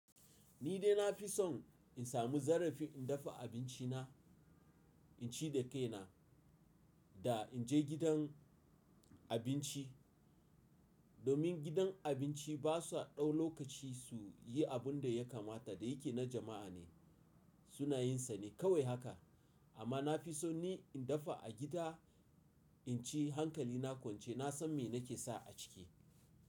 Ni dai na fi son in samu zarafi in dafa abinci na, in ci da kai na, da in je gidan abinci. Domin gidan abinci ba sa ɗau lokaci su yi abun da ya kamata da yake na jama’a ne, suna yin sane kawai haka. Amma na fi son ni in dafa a gida, in ci hankali na kwance, na san me na ke sa a ciki.